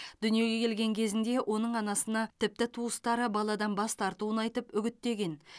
дүниеге келген кезінде оның анасына тіпті туыстары баладан бас тартуын айтып үгіттеген